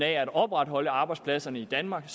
at opretholde arbejdspladserne i danmark